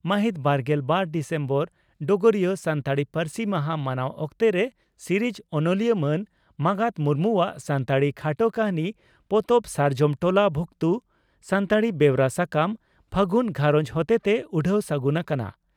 ᱢᱟᱦᱤᱛ ᱵᱟᱨᱜᱮᱞ ᱵᱟᱨ ᱰᱤᱥᱮᱢᱵᱚᱨ (ᱰᱚᱜᱚᱨᱤᱭᱟᱹ) ᱺ ᱥᱟᱱᱛᱟᱲᱤ ᱯᱟᱹᱨᱥᱤ ᱢᱟᱦᱟ ᱢᱟᱱᱟᱣ ᱚᱠᱛᱚᱨᱮ ᱥᱤᱨᱤᱡᱽ ᱚᱱᱚᱞᱤᱭᱟᱹ ᱢᱟᱱ ᱢᱟᱜᱟᱛ ᱢᱩᱨᱢᱩ ᱟᱜ ᱥᱟᱱᱛᱟᱲᱤ ᱠᱷᱟᱴᱚ ᱠᱟᱹᱦᱱᱤ ᱯᱚᱛᱚᱵ "ᱥᱟᱨᱡᱚᱢ ᱴᱚᱞᱟ ᱵᱷᱩᱠᱛᱩ" ᱥᱟᱱᱛᱟᱲᱤ ᱵᱮᱣᱨᱟ ᱥᱟᱠᱟᱢ 'ᱯᱷᱟᱹᱜᱩᱱ ᱜᱷᱟᱨᱚᱸᱡᱽ' ᱦᱚᱛᱮᱛᱮ ᱩᱰᱷᱟᱹᱣ ᱥᱟᱹᱜᱩᱱ ᱟᱠᱟᱱᱟ ᱾